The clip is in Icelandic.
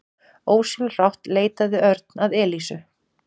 Ósjálfrátt leitaði Örn að Elísu.